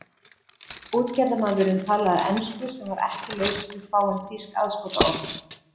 Útgerðarmaðurinn talaði ensku sem var ekki laus við fáein þýsk aðskotaorð.